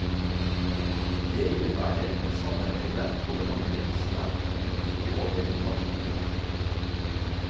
Det innebærer et samarbeide over landegrensene, men ikke over nasjonene.